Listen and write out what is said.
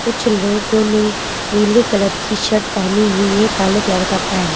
कुछ लोगों ने नीले कलर की शर्ट पहनी हुई है काले कलर का पैंट --